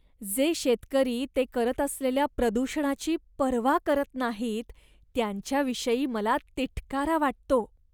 जे शेतकरी ते करत असलेल्या प्रदूषणाची पर्वा करत नाहीत, त्यांच्याविषयी मला तिटकारा वाटतो.